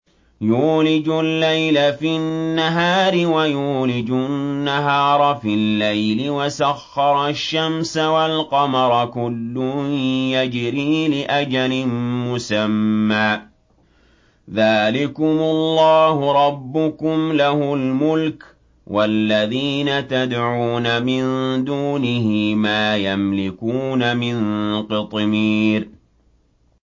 يُولِجُ اللَّيْلَ فِي النَّهَارِ وَيُولِجُ النَّهَارَ فِي اللَّيْلِ وَسَخَّرَ الشَّمْسَ وَالْقَمَرَ كُلٌّ يَجْرِي لِأَجَلٍ مُّسَمًّى ۚ ذَٰلِكُمُ اللَّهُ رَبُّكُمْ لَهُ الْمُلْكُ ۚ وَالَّذِينَ تَدْعُونَ مِن دُونِهِ مَا يَمْلِكُونَ مِن قِطْمِيرٍ